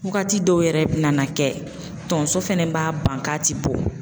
Wagati dɔw yɛrɛ bi nana kɛ tonso fɛnɛ b'a ban k'a ti bɔ.